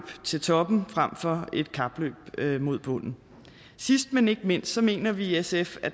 til toppen frem for et kapløb mod bunden sidst men ikke mindst mener vi i sf at